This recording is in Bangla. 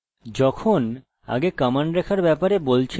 যখন আগে কমান্ড রেখার ব্যাপারে বলছিলাম এটি ঐ যা বানানোর জন্য লিখতে হত